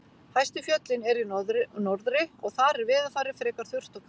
Hæstu fjöllin eru í norðri og þar er veðurfarið frekar þurrt og kalt.